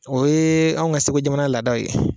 O ye anw ka segu jamana laadaw ye.